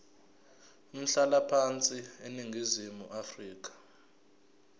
umhlalaphansi eningizimu afrika